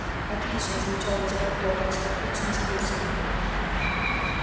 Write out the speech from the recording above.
отлично излучал восторг локонс отлично с плюсом